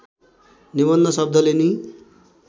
निबन्ध शब्दले नि